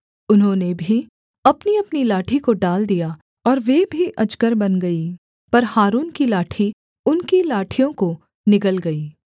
उन्होंने भी अपनीअपनी लाठी को डाल दिया और वे भी अजगर बन गई पर हारून की लाठी उनकी लाठियों को निगल गई